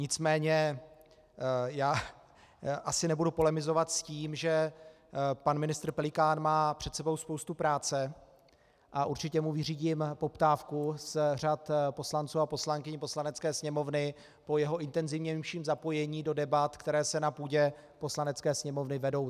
Nicméně já asi nebudu polemizovat s tím, že pan ministr Pelikán má před sebou spoustu práce, a určitě mu vyřídím poptávku z řad poslanců a poslankyň Poslanecké sněmovny po jeho intenzivnějším zapojení do debat, které se na půdě Poslanecké sněmovny vedou.